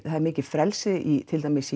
það er mikið frelsi í til dæmis